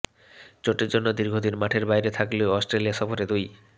চোটের জন্য দীর্ঘদিন মাঠের বাইরে থাকলেও অস্ট্রেলিয়া সফরে দুই